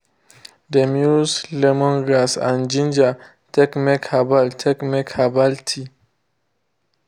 dem use lemongrass and ginger take make herbal take make herbal tea.